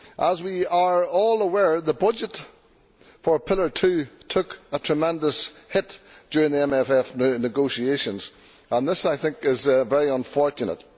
As we are all aware, the budget for Pillar Two took a tremendous hit during the MFF negotiations, and this is very unfortunate.